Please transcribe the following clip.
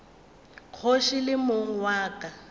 kgoši le mong wa ka